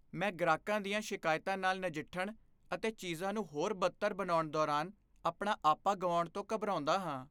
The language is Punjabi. ਮੈਂ ਗ੍ਰਾਹਕਾਂ ਦੀਆਂ ਸ਼ਿਕਾਇਤਾਂ ਨਾਲ ਨਜਿੱਠਣ ਅਤੇ ਚੀਜ਼ਾਂ ਨੂੰ ਹੋਰ ਬਦਤਰ ਬਣਾਉਣ ਦੌਰਾਨ ਆਪਣਾ ਆਪਾ ਗੁਆਉਣ ਤੋਂ ਘਬਰਾਉਂਦਾ ਹਾਂ।